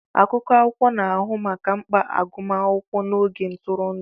Akụkụ akwụkwọ na-ahụ maka mkpa agụmakwụkwọ na oge ntụrụndụ.